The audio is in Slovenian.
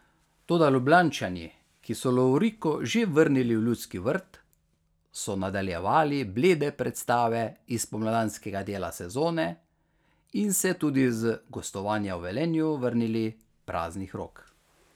Toda Ljubljančani, ki so lovoriko že vrnili v Ljudski vrt, so nadaljevali blede predstave iz spomladanskega dela sezone in se tudi z gostovanja v Velenju vrnili praznih rok.